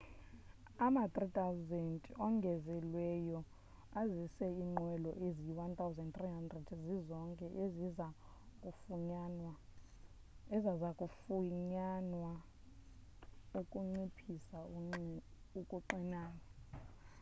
ama-300 ongezelelweyo azisa iinqwelo ezi-1,300 zizonke eziza kufunyanwa ukunciphisa ukuxinana